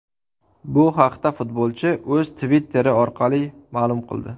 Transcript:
Bu haqda futbolchi o‘z Twitter’i orqali ma’lum qildi .